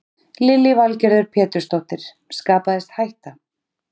Lillý Valgerður Pétursdóttir: Skapaðist hætta?